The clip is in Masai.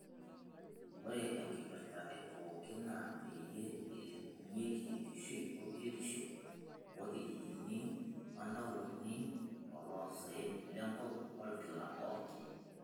Ore enkipirta epookin naa peyie elepunyi enkishui oo biotisho orkijijini oo ntaonini toloo saen lenkop olkila orok.